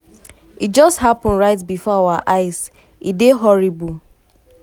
e just um happun right bifor our eyes e dey horrible."